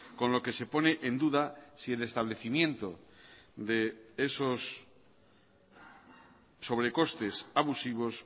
con lo que se pone en duda si el establecimiento de esos sobrecostes abusivos